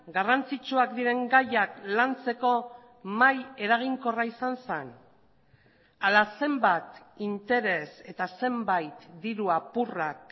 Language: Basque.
garrantzitsuak diren gaiak lantzeko mahai eraginkorra izan zen ala zenbat interes eta zenbait dirua apurrak